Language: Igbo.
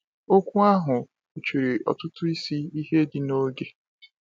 Okwu ahụ kpuchiri ọtụtụ isi ihe dị n’oge.